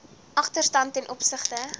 agterstand ten opsigte